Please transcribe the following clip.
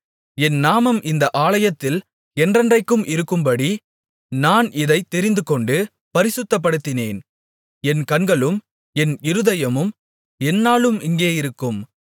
என் நாமம் இந்த ஆலயத்தில் என்றென்றைக்கும் இருக்கும்படி நான் இதைத் தெரிந்துகொண்டு பரிசுத்தப்படுத்தினேன் என் கண்களும் என் இருதயமும் எந்நாளும் இங்கே இருக்கும்